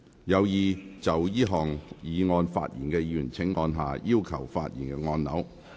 有意就這項議案發言的議員請按下"要求發言"按鈕。